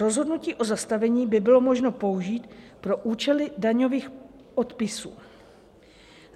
Rozhodnutí o zastavení by bylo možno použít pro účely daňových odpisů.